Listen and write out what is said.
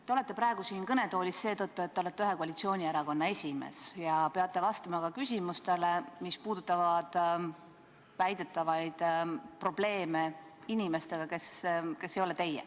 Te olete praegu siin kõnetoolis seetõttu, et te olete ühe koalitsioonierakonna esimees ja peate vastama ka küsimustele, mis puudutavad väidetavaid probleeme inimestega, kes ei ole teie.